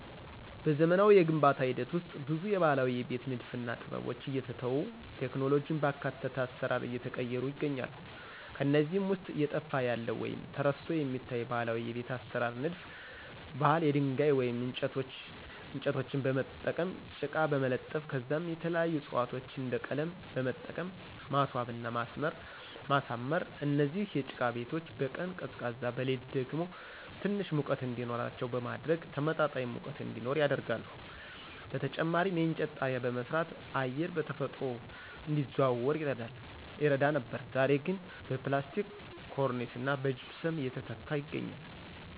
በዘመናዊ የግንባታ ሂደት ውስጥ ብዙ የባህላዊ የቤት ንድፍና ጥበቦች እየተተው ቴክኖሎጂን ባካተተ አሰራር እየተቀየሩ ይገኛሉ። ከነዚህም ውስጥ እየጠፋ ያለ ወይም ተረስቶ የሚታይ ባህላዊ የቤት አሰራር ንድፍ ባህል የድንጋይ ወይም እንጨቶችን በመጠቀም ጭቃ በመለጠፍ ከዛም የተለያዩ ዕፅዋቶችን እንደ ቀለም በመጠቀም ማስዋብና ማሳመር። እነዚህ የጭቃ ቤቶች በቀን ቀዝቃዛ በሌሊት ደግሞ ትንሽ ሙቀት እንዲኖረው በማድረግ ተመጣጣኝ ሙቀት እዲኖር ያደርጋሉ። በተጨማሪም የእንጨት ጣሪያ በመስራት አየር በተፈጥሮ እንዲዘዋወር ይረዳ ነበር ዛሬ ግን በፕላስቲክ ኮርኒስና በጅፕሰም እየተተካ ይገኛል።